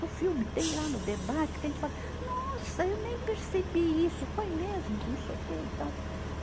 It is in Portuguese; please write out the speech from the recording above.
No filme, tem lá no debate que a gente fala, nossa, eu nem percebi isso, foi mesmo, não sei o quê e tal.